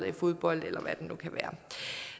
i fodbold eller hvad det nu kan være